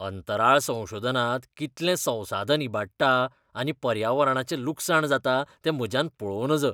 अंतराळ संशोधनात कितलें संसाधन इबाटडा आनी पर्यावरणाचें लुकसाण जाता तें म्हज्यान पळोवं नज .